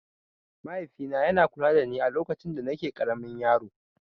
Mahaifina yana kula dani alokacin danake ƙaramin yaro.